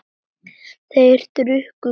Þeir drukku kaffið.